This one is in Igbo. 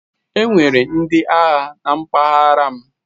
Enwere ndị agha na mpaghara m.